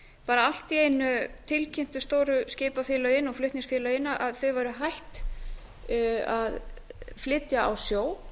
bara allt í einu tilkynntu stóru skipafélögin og flutningafélögin að þau væru hætt að flytja á sjó